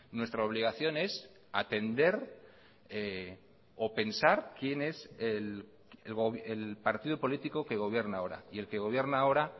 nuestra obligación es atender o pensar quién es el partido político que gobierna ahora y el que gobierna ahora